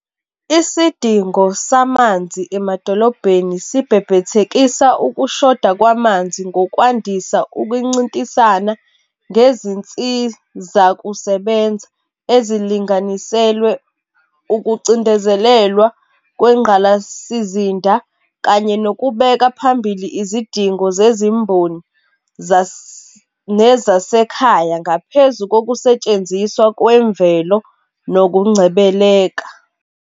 Isidingo samanzi emadolobheni sibhebhethekisa ukushoda kwamanzi ngokwandisa ukuncintisana ngezinsizakusebenza ezilinganiselwe ukucindezelelwa kwengqalasizinda, kanye nokubeka phambili izidingo zezimboni nezasekhaya ngaphezu kokusetshenziswa kwemvelo nokungcebeleka.